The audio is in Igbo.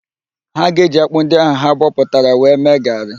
Ha ga-eji ákpụ́ ndị ahụ ha bọtara wee mee gaarị.